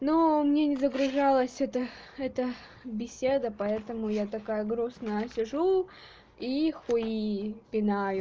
но мне не загружалось эта эта беседа поэтому я такая грустная сижу и хуи пинаю